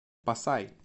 пасай